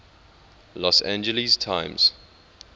los angeles times